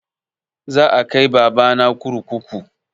Za a kai baba na kurkuku